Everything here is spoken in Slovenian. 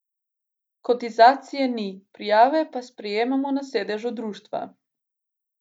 Kotizacije ni, prijave pa sprejemajo na sedežu društva.